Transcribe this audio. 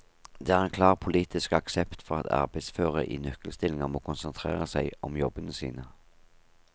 Det er en klar politisk aksept for at arbeidsføre i nøkkelstillinger må konsentrere seg om jobbene sine.